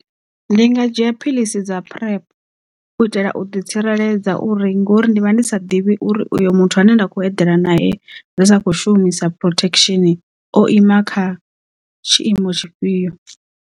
Ndi nga dzhia phiḽisi dza PrEP u itela u ḓi tsireledza uri ngori ndivha ndi sa ḓivhi uri uyo muthu ane nda khou eḓela nae ri sa kho shumisa protection o ima kha tshiimo tshifhio.